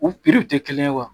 U tɛ kelen ye wa